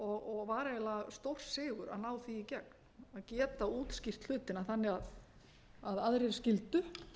og var eiginlega stórsigur að ná því í gegn að geta útskýrt hlutina þannig að aðrir skyldu